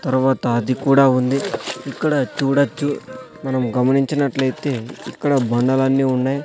తర్వాత అది కూడా ఉంది ఇక్కడ చూడొచ్చు మనం గమనించినట్లైతే ఇక్కడ బండలన్నీ ఉన్నాయ్.